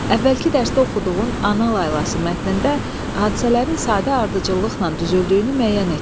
Əvvəlki dərsdə oxuduğun “Ana laylası” mətnində hadisələrin sadə ardıcıllıqla düzüldüyünü müəyyən etdin.